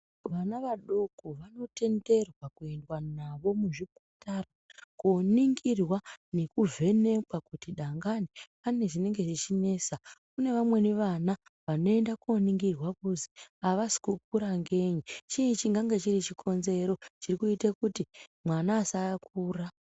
Vana vadoko vanotenderwa kuyendwa navo muzvipatara koningirwa nekuvhenekwa kuti dangani pane zvinenge zvechinesa kune vamweni vana vanoenda kuningirwa kuzwi avasi kukura ngei chii chingange chiri chikonzero chiri kuite kuti mwana asakura.